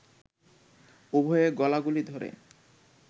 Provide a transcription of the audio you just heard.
উভয়ে গলাগলি ধরে